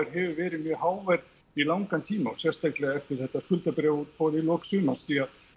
hefur verið mjög hávær í langan tíma og sérstaklega eftir þetta skuldabréfaútboð í lok sumars því að